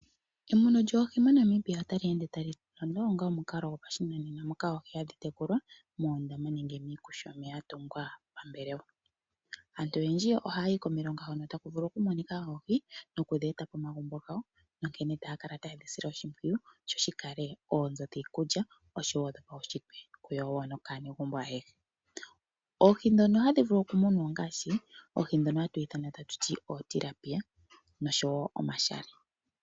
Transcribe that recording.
Emuno djoohi moNamibia otali eende tali londo onga omukalo gopa shinanena moka oohi hadhi tekulwa moondama nenge miishana mbyono ya tungwa pa mbelewa. Aantu oyendji ohaya yi komilonga hono taku vulu oku monika oohi nokudhi eta poma gumbo gawo nonkene taya kala tayedhi sile oshipwiyu sho shikale oonzo dhii kulya osho woo dhopawu shitwe kuyauwa kaanegumbo ayehe. Oohi ndhono hadhi vulu oku munwa oongaashi oohi ndhono hatu ithana tatu ti ootilapia noshowo omashale.